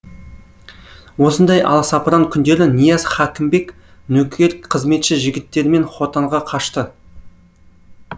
осындай аласапыран күндері нияз хәкімбек нөкер қызметші жігіттерімен хотанға қашты